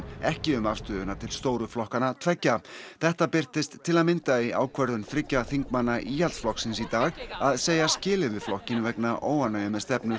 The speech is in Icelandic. ekki um afstöðuna til stóru flokkanna tveggja þetta birtist til að mynda í ákvörðun þriggja þingmanna Íhaldsflokksins í dag að segja skilið við flokkinn vegna óánægju með stefnu